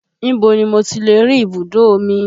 Ibo ni mo tilè rí ibùdó omi?